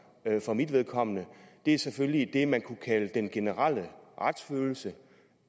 for mit vedkommende er selvfølgelig det man kunne kalde den generelle retsfølelse